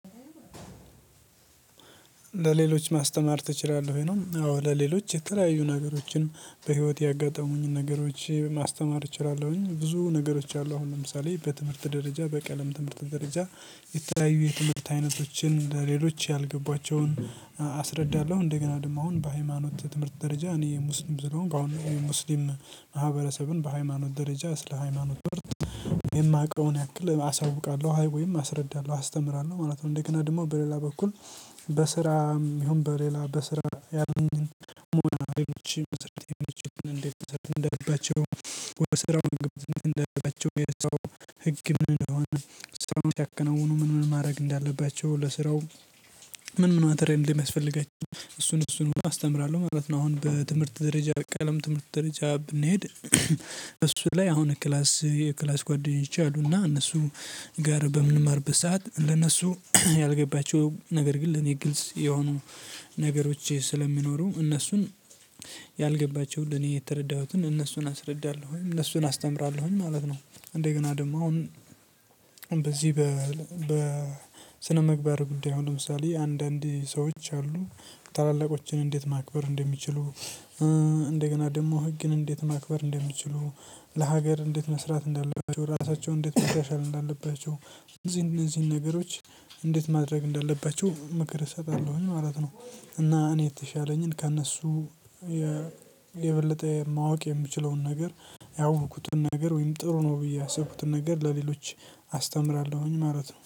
ለሌሎች ማስተማር ትችላለህ ወይ ነው? አዎ ለሌሎች የተለያዩ ነገሮችንም በህይወቴ ያጋጠሙኝን ነገሮች ማስተማር እችላለሁኝ ብዙ ነገሮች አሉ። አሁን ለምሳሌ በትምህርት ደረጃ በቀለም ትምህርት ደረጃ የተለያየ የትምህርት አይነቶችን ለሌሎች ያልገባቸውን አስረዳለሁ እንደገና ደግሞ አሁን በሃይማኖት ትምህርት ደረጃ እኔ ሙስሊም ስለሆንኩ በአሁኑ ሙስሊም ማህበረሰብን በሃይማኖት ደረጃ ስለ ሃይማኖት የማውቀውን ያክል አሳውቃለሁ። አይ ወይም አስረዳለሁ አስተምራለሁ ማለት ነው። እንደገና ደግሞ በሌላ በኩል። በስራም ይሁን በሌላ በስራ ያለኝን ሞራቤኖች መስርቴን እንዴት ተሰርተህ እንደለበቸው? ወደ ስራው መግባት እንደለባቸው የሰው ህግ ምን እንደሆነ? ሰው ያከናውኑ ምን ምን ማድረግ እንዳለባቸው ለስራው? ምን ምን ማተሪያል እንደሚያስፈልጋቸው? እሱን እሱን አስተምራለሁ ማለት ነው። አሁን በትምህርት ደረጃ ቀለም ትምህርት ደረጃ ብንሄድ። እሱ ላይ አሁን ክላስ የክላስ ጓደኞቼ አሉና እነሱ ጋር በምንማርቀት ሰዓት ለነሱ ያልገባቸው ነገር ግን ለእኔ ግልጽ የሆኑ ነገሮች ስለሚኖሩ እነሱን ያልገባቸውን ለኔ የተረዳሁትን እነሱን አስረዳለሁኝ እነሱን አስተምራለሁኝ ማለት ነው። እንደገና ደግሞ አሁን በዚህ በስነምግባር ጉዳይ አሁን ለምሳሌ አንዳንድ ሰዎች አሉ ታላላቆችን እንዴት ማክበር እንደሚችሉ? እንደገና ደግሞ ህግን እንዴት ማክበር እንደምችሉ? ለሀገር እንዴት መስራት እንዳለባቸው ራሳቸው እንዴት ማሻሻል እንዳለባቸው? እነዚህን እነዚህን ነገሮች እንዴት ማድረግ እንዳለባችሁ ምክር እሰጣለሁኝ ማለት ነው። እና እኔ የተሻለኝን ከእነሱ የበለጠ ማወቅ የምችለውን ነገር ያወቅኩትን ነገር ወይም ጥሩ ነው ብዬ ያሰብኩትን ነገር ለሌሎች አስተምራለሁኝ ማለት ነው